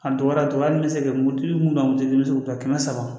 A dɔgɔyara dɔɔnin hali n bɛ se ka mototigi mun ka moto bɛ se k'u ta kɛmɛ saba